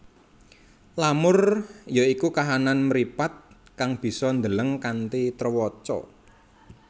Lamur ya iku kahanan mripat kang bisa ndeleng kanthi trewaca